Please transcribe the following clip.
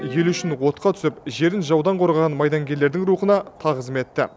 ел үшін отқа түсіп жерін жаудан қорғаған майдангерлердің рухына тағзым етті